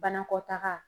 Banakɔtaga